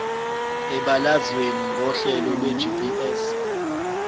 ebalazweni ngokohlelo lwegps